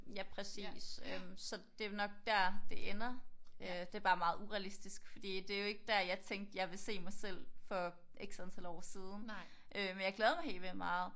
Ja præcis øh så det er nok der det ender øh det er bare meget urealistisk fordi det er jo ikke der jeg tænkte jeg ville se mig selv for x antal år siden men jeg glæder mig helt vildt meget